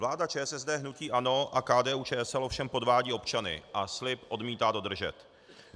Vláda ČSSD, hnutí ANO a KDU-ČSL ovšem podvádí občany a slib odmítá dodržet.